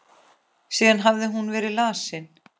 Síðan hafði hún verið lasin.